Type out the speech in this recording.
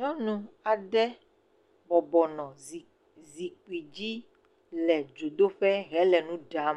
Nyɔnu aɖe bɔbɔ nɔ zi, zikpi dzi le dzodoƒe hele nu ɖam.